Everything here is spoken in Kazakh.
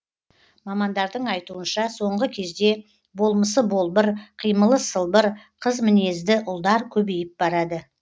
мамандардың айтуынша соңғы кезде болмысы болбыр қимылы сылбыр қыз мінезді ұлдар көбейіп барады